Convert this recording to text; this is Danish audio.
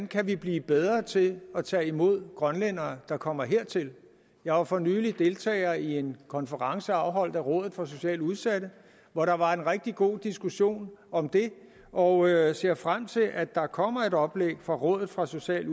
kan blive bedre til at tage imod grønlændere der kommer hertil jeg var for nylig deltager i en konference afholdt af rådet for socialt udsatte hvor der var en rigtig god diskussion om det og jeg ser frem til at der kommer et oplæg fra rådet for socialt